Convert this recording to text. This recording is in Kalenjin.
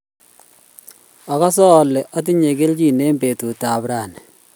agase ale atinye keljin eng' betut ab raini